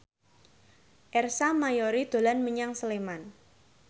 Ersa Mayori dolan menyang Sleman